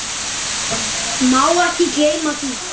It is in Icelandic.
Má ekki gleyma því.